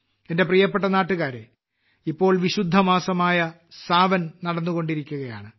എന്റെ പ്രിയപ്പെട്ട നാട്ടുകാരേ ഇപ്പോൾ വിശുദ്ധമാസമായ സാവൻ നടന്നുകൊണ്ടിരിക്കുകയാണ്